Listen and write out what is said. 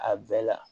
A bɛɛ la